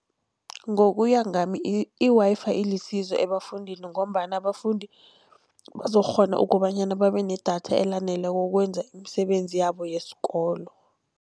Ngokuya ngami i-Wi-Fi ilisizo ebafundini, ngombana abafundi bazokukghona ukobanyana babe nedatha elaneleko ukwenza imisebenzi yabo yesikolo.